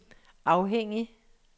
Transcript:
afhængig